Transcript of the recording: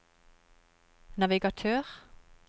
navigatør